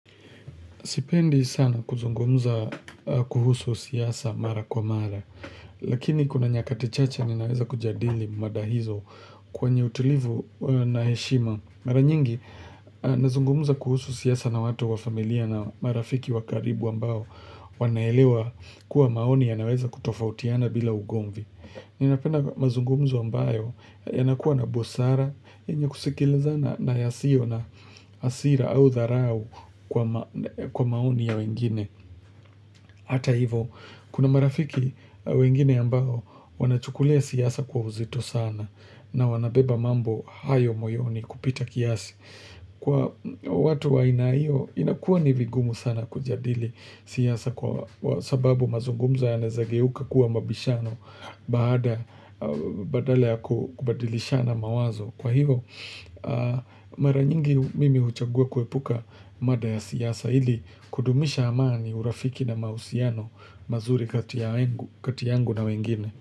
Sipendi sana kuzungumza kuhusu siasa mara kwa mara, lakini kuna nyakati chache ninaweza kujadili mada hizo kwenye utulivu na heshima. Mara nyingi, nazungumuza kuhusu siasa na watu wa familia na marafiki wakaribu ambao wanaelewa kuwa maoni ya naweza kutofautiana bila ugomvi. Ninapenda mazungumzo ambayo yanakuwa na busara, yenye kusikilizana na yasio na asira au dharau kwa maoni ya wengine. Hata hivo, kuna marafiki wengine ambao wanachukulia siyasa kwa uzito sana na wanabeba mambo hayo moyoni kupita kiasi. Kwa watu wa inaio, inakuwa nivigumu sana kujadili siasa kwa sababu mazungumzo ya naezageuka kuwa mabishano badala ya kubadilishana mawazo. Kwa hivo, mara nyingi mimi uchagua kuepuka mada ya siasa ili kudumisha amaani urafiki na mausiano mazuri katiyangu na wengine.